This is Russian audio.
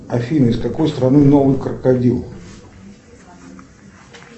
афина из какой страны новый крокодил